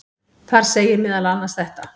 Þar segir meðal annars þetta: